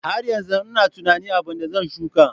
Har yanzu ina tunanin abin da zan shuka.